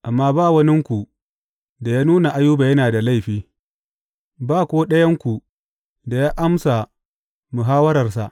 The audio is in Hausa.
Amma ba waninku da ya nuna Ayuba yana da laifi; ba ko ɗayanku da ya amsa muhawwararsa.